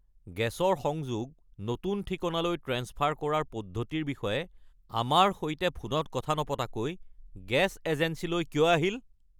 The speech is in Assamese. গেছৰ সংযোগ নতুন ঠিকনালৈ ট্ৰেন্সফাৰ কৰাৰ পদ্ধতিৰ বিষয়ে আমাৰ সৈতে ফোনত নপতাকৈ গেছ এজেন্সীলৈ কিয় আহিল? (গেছ এজেন্সীৰ প্ৰতিনিধি)